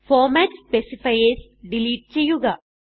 format specifiers delete ചെയ്യുക